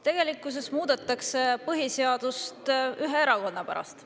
Tegelikkuses muudetakse põhiseadust ühe erakonna pärast.